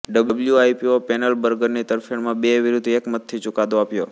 WIPO પૅનલે બર્ગરની તરફેણમાં બે વિરુદ્ધ એક મતથી ચૂકાદો આપ્યો